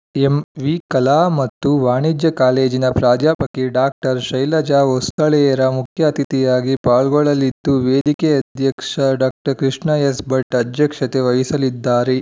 M V ಕಲಾ ಮತ್ತು ವಾಣಿಜ್ಯ ಕಾಲೇಜಿನ ಪ್ರಾಧ್ಯಾಪಕಿ ಡಾಕ್ಟರ್ ಶೈಲಜಾ ಹೊಸಳ್ಳೇರ ಮುಖ್ಯ ಅತಿಥಿಯಾಗಿ ಪಾಲ್ಗೊಳ್ಳಲಿದ್ದು ವೇದಿಕೆ ಅಧ್ಯಕ್ಷ ಡಾಕ್ಟರ್ ಕೃಷ್ಣ ಎಸ್‌ ಭಟ್‌ ಅಧ್ಯಕ್ಷತೆ ವಹಿಸಲಿದ್ದಾರೆ